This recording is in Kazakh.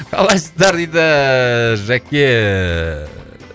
қалайсыздар дейді жәке